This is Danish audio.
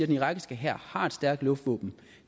den irakiske hær har et stærkt luftvåben